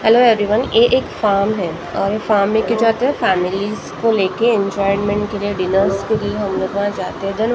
Hello everyone ये एक form है और ये फॉर्म लेके जाते है फेमेलिस को लेके एन्जॉयमेंट्स के लिए डिनर के लिए हम लोग वहा जाते है देन वहाँ पर हम।